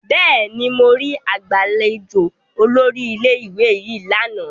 Bẹẹni, mo ri agbalejo olórí ilé-ìwé yìí lana